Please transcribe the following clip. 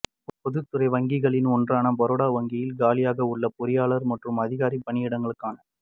பொதுத்துறை வங்கிகளில் ஒன்றான பரோடா வங்கியில் காலியாக உள்ள பொறியாளர் மற்றும் அதிகாரி பணியிடங்களுக்கான